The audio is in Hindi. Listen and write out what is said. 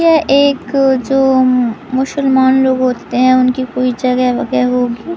यह एक जो मुशलमान लोग होते हैं उनकी कोई जगह वग़ह होगी--